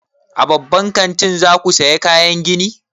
A babban kantin za ku saya kayan gini?